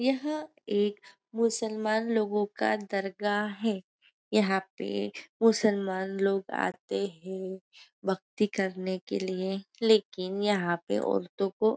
यह एक मुसलमान लोगों का दरगाह है यहाँ पे मुसलमान लोग आते हैं भक्ति करने के लिए लेकिन यहाँ पे औरतों को--